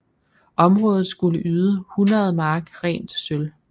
Området skulle yde 100 mark rent sølv